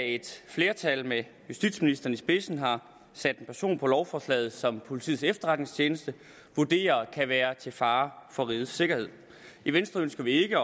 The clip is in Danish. et flertal med justitsministeren i spidsen har sat en person på lovforslaget som politiets efterretningstjeneste vurderer kan være til fare for rigets sikkerhed i venstre ønsker vi ikke